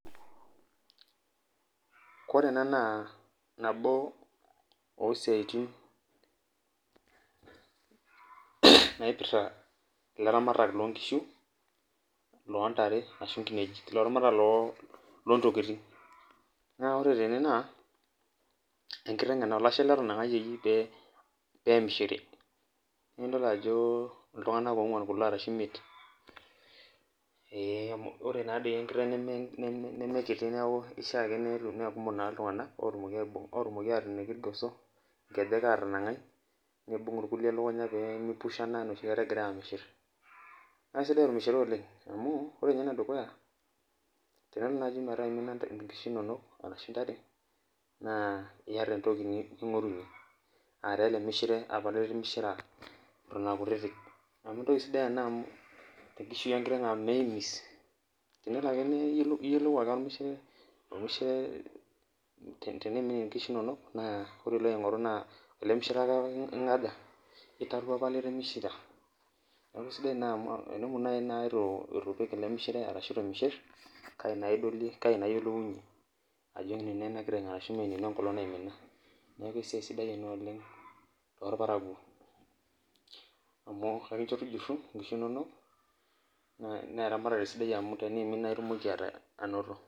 Koree ena na nabo osiatin naipirta ilaramatak lonkishu, ashu ntare laramatak lontokitin na ore tene. Na olashe etanangayieki pemishiri nidol ajo ltunganak onguan kulo ashu imoet amu enkiteng ena nimishaa pekumok na ltunganak otumokibateeniki irgosoa anangaa nibung irkulie ellunya pemeikushana enoshi kata egirai amishir na kesidai ormishire oleng amu tenelo nai neaku imina nkishu inonok ashu ntare na iyata entoki ningorunye aara elemishire apa litimishira amu entoki sidia ena tenkiteng amu meimis iyoloilu ake ormisheire amu teneimin nkishu inonok na elemishire ake apa litimishira, neaku aisidai amu tenemut nai itumishir elemishire kai na iyolounye ajo kai eima enkiteng neaku esiai sidia ena oleng torparakuo na ekicho tukuju ntokitin inonol amu teneimin na indim ainoto.